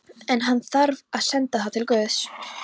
En- hann þarf að senda það til guðs.